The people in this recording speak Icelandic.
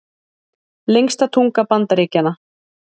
Lengsta tunga Bandaríkjanna